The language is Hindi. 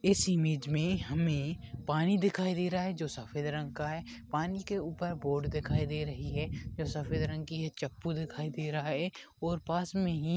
इस इमेज में हमें पानी दिखाई दे रहा है जो सफ़ेद रंग का है पानी के ऊपर बोट दिखाई दे रही है जो सफ़ेद रंग की है चप्पू दिखाई दे रहा है और पास में ही --